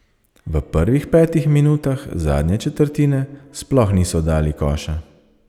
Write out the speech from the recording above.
V prvih petih minutah zadnje četrtine sploh niso dali koša.